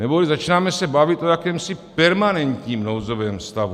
Neboli začínáme se bavit o jakémsi permanentním nouzovém stavu.